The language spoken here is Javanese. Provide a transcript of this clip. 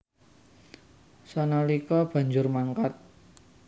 Sanalika banjur mangkat